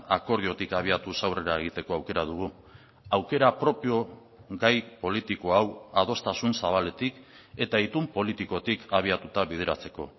akordiotik abiatuz aurrera egiteko aukera dugu aukera propio gai politiko hau adostasun zabaletik eta itun politikotik abiatuta bideratzeko